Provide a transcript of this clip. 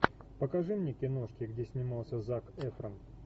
покажи мне киношки где снимался зак эфрон